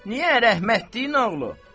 Niyə rəhmətliyin oğlu?